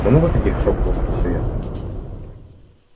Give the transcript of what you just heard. много таких шёпотом спросил я